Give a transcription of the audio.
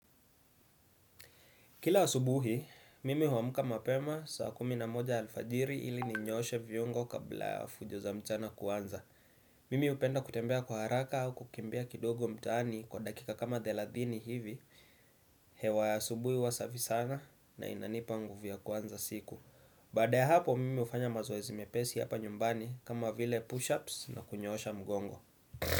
Kila asubuhi, mimi huamka mapema saa kumi na moja alfajiri ili ninyooshe viungo kabla ya fujo za mchana kuanza. Mimi hupenda kutembea kwa haraka au kukimbia kidogo mtaani kwa dakika kama thelathini hivi, hewa ya asubuhi huwa safi sana na inanipa nguvu ya kuanza siku. Baada ya hapo, mimi hufanya mazoezi mepesi hapa nyumbani kama vile push-ups na kunyoosha mgongo.